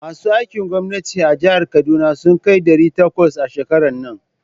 Masu aikin gwamnati a jihar Kaduna sun kai ɗari takwas a shekaran nan.